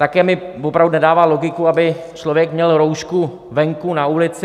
Také mi opravdu nedává logiku, aby člověk měl roušku venku na ulici.